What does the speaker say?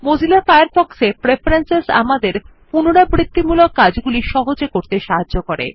Mozilla Firefox এ preference আমাদের পুনরাবৃত্তিমূলক কাজগুলি সহজে করতে সাহায্য করে